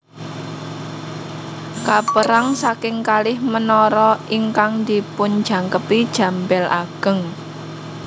Kapérang saking kalih menara ingkang dipunjangkepi jam bél ageng